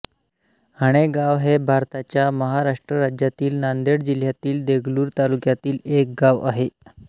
हणेगाव हे भारताच्या महाराष्ट्र राज्यातील नांदेड जिल्ह्यातील देगलूर तालुक्यातील एक गाव आहे